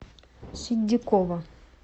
ситдикова